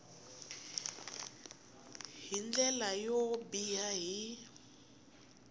hi ndlela yo biha hi